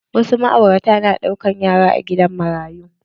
Wasu ma'aurata na ɗaukan yara a gidan marayu.